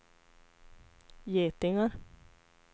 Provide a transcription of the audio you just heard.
getingar